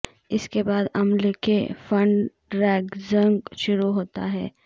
اس کے بعد عمل کے فنڈ ریزنگ شروع ہوتا ہے